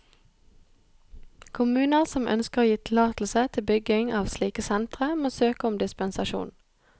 Kommuner som ønsker å gi tillatelse til bygging av slike sentre, må søke om dispensasjon.